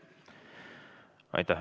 Aitäh!